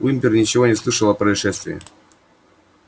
уимпер ничего не слышал о происшествии